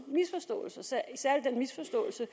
misforståelser